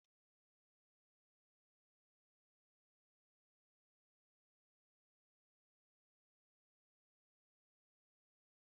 N'ebe a na-ehi ụra, anyị mepụtara akụkọ anyị na ndị ọbịa, ndị ohi, na anụ ụlọ na-ekwu okwu.